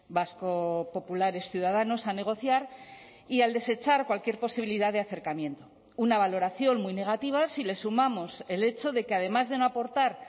vasco populares ciudadanos a negociar y al desechar cualquier posibilidad de acercamiento una valoración muy negativa si le sumamos el hecho de que además de no aportar